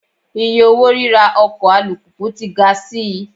Iye owó ríra ọkọ̀ alùpùpù tí ga sí i.